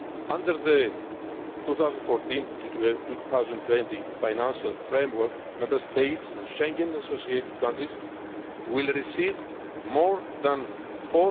crisis. Under the 2014 to 2020 financial framework, Member States and Schengen associated countries will receive